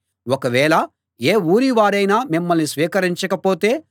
ఒకవేళ ఏ ఊరి వారైనా మిమ్మల్ని స్వీకరించక పోతే